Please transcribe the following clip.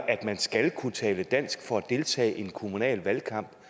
man skal kunne tale dansk for at deltage i en kommunal valgkamp